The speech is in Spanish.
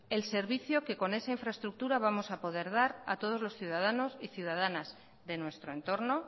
el servicio que con esa infraestructura vamos a poder dar a todos los ciudadanos y ciudadanas de nuestro entorno